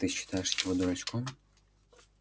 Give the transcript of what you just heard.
ты считаешь его дурачком